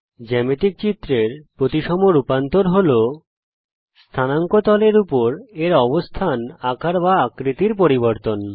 জ্যামিতিক চিত্রের প্রতিসম রূপান্তর হল স্থানাঙ্ক তল কুওর্ডিনেট প্লেন এর উপর এর অবস্থান আকার বা আকৃতির পরিবর্তন